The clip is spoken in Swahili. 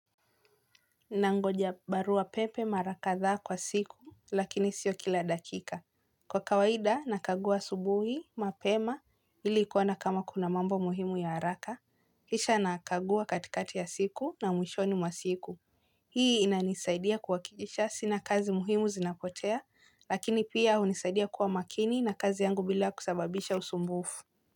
Nangoja baruapepe mara kadhaa kwa siku, lakini sio kila dakika. Kwa kawaida, nakagua asubuhi, mapema, ili kuona kama kuna mambo muhimu ya haraka, kisha nakaguwa katikati ya siku na mwishoni masiku. Hii inanisaidia kuwakikisha sina kazi muhimu zinapotea, lakini pia hunisaidia kuwa makini na kazi yangu bila kusababisha usumbufu.